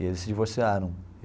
E eles se divorciaram.